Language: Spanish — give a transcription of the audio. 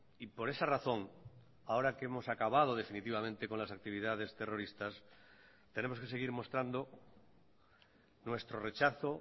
y por esa razón ahora que hemos acabado definitivamente con las actividades terroristas tenemos que seguir mostrando nuestro rechazo